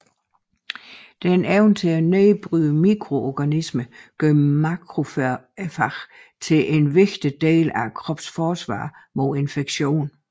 Denne evne til at nedbryde mikroorganismer gør makrofagerne til en vigtig del af kroppens forsvar mod infektion